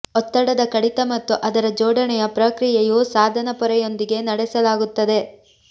ಒತ್ತಡದ ಕಡಿತ ಮತ್ತು ಅದರ ಜೋಡಣೆಯ ಪ್ರಕ್ರಿಯೆಯು ಸಾಧನ ಪೊರೆಯೊಂದಿಗೆ ನಡೆಸಲಾಗುತ್ತದೆ